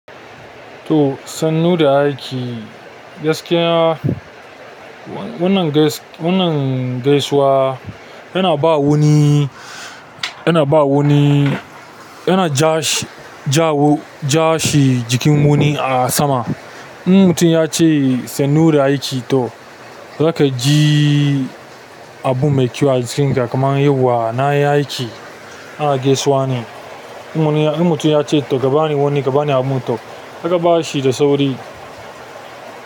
To sannu da aiki. Gaskiya wannan gais-- wannan gaisuwa yana ba wuni, yana ba wuni, yana ja shi, ja wo-- ja shi jikin wuni a sama. In mutum ya ce sannu da aiki to zaka ji abu mai kyau a jikinka kaman yauwa na yi aiki. Ana gaisuwa ne. In mutum ya ce to ka bani wani ka bani abu to zaka ba shi da sauri.